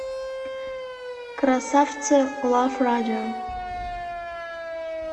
красавцы лав радио